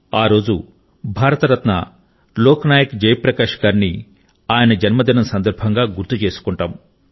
ఆ రోజు భారత రత్న లోక్ నాయక్ జయ ప్రకాశ్ గారిని ఆయన జన్మదినం సందర్భంగా గుర్తు చేసుకుంటాం